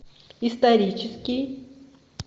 исторический